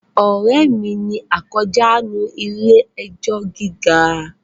Ọ̀rẹ́ mi ni akójàánu ilé ẹjọ́ gíga